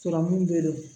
Sɔrɔmu bɛ